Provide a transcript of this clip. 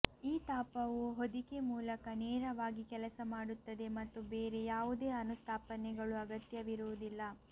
ಈ ತಾಪವು ಹೊದಿಕೆ ಮೂಲಕ ನೇರವಾಗಿ ಕೆಲಸ ಮಾಡುತ್ತದೆ ಮತ್ತು ಬೇರೆ ಯಾವುದೇ ಅನುಸ್ಥಾಪನೆಗಳು ಅಗತ್ಯವಿರುವುದಿಲ್ಲ